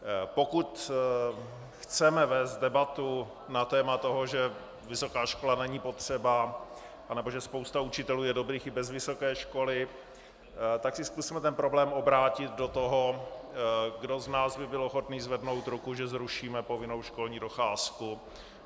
Pokud chceme vést debatu na téma toho, že vysoká škola není potřeba nebo že spousta učitelů je dobrých i bez vysoké školy, tak si zkusme ten problém obrátit do toho, kdo z nás by byl ochotný zvednout ruku, že zrušíme povinnou školní docházku.